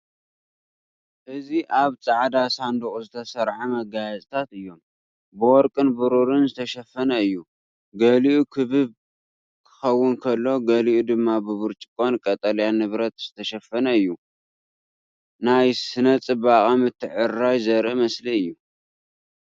እዚ ኣብ ጻዕዳ ሳንዱቕ ዝተሰርዐ መጋየፅታት እዩም። ብወርቅን ብሩርን ዝተሸፈነ እዩ። ገሊኡ ክቡብ ክኸውን ከሎ፡ ገሊኡ ድማ ብብርጭቆን ቀጠልያ ንብረትን ዝተሸፈነ እዩ። ናይ ስነ-ጽባቐ ምትዕርራይ ዘርኢ ምስሊ እዩ።